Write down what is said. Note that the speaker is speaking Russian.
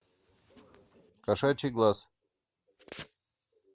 кошачий глаз